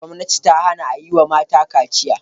Gwamnati ta hana a yi wa mata kaciya.